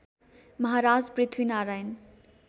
Maharaj Prithvi Narayan